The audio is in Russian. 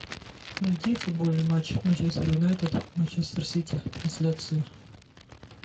найди футбольный матч манчестер юнайтед манчестер сити трансляцию